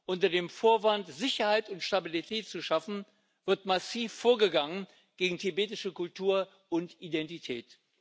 Unter dem Vorwand, Sicherheit und Stabilität zu schaffen, wird massiv vorgegangen gegen tibetische Kultur und Identität.